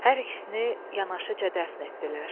Hər ikisini yanaşıca dəfn etdilər.